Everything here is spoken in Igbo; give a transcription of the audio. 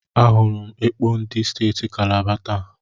Ahụrụ m ekpo ndị steeti Kalaba taa.